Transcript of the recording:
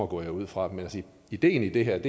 går jeg ud fra men ideen i det her